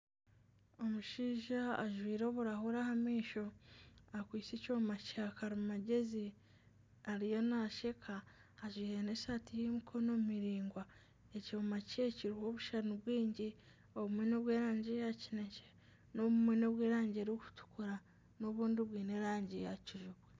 Omushaija ajwire oburahuri aha maisho akwitse ekyooma kya karimagezi ariyo nasheka, ajwaire n'esati y'emikono miringwa. Ekyooma kye kiriho obushushani bwingi. Obumwe n'obwerangi ya kinekye, obumwe n'obwerangi eri kutukura n'obundi bwiine erangi ya kijubwe.